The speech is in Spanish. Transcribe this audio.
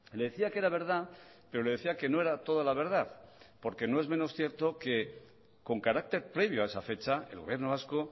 le decía que era verdad pero le decía que no era toda la verdad porque no es menos cierto que con carácter previo a esa fecha el gobierno vasco